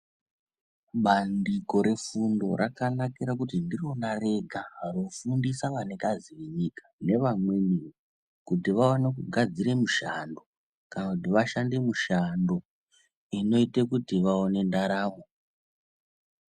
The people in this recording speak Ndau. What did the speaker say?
Bandiko refunfo rakanakira pakuti ndirona rega rinofundisa vanikazi venyika nevamweniwo kuti vaone kugadzira mishando kana kuti vashande mushando inoite kuti vaone ndaramo .